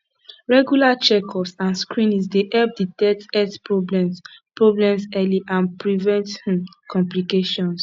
regular checkups and screenings dey help detect health problems problems early and prevent um complications